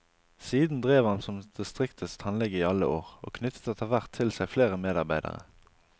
Siden drev han som distriktets tannlege i alle år, og knyttet etterhvert til seg flere medarbeidere.